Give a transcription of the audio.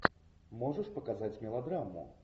можешь показать мелодраму